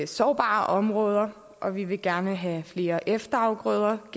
sårbare områder og vi vil gerne have genindført flere efterafgrøder og